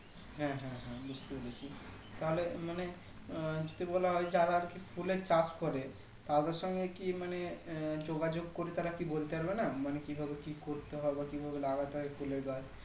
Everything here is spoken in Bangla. হ্যাঁ হ্যাঁ বুজতে পেরেছি তাহলে মানে আহ যদি বলা হয় যারা আরকি ফুলের চাষ করে তাদের সঙ্গে কি মানে আহ যোগাযোগ করি তারা কি বলতে পারবে না মানে কি ভাবে কি করতে হবে কি ভাবে লাগাতে হয় ফুলের গাছ